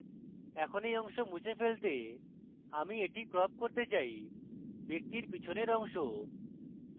এরপর এই অংশ মুছে ফেলতে আমি এটি crop করতে চাইব্যক্তির পেছনের অংশ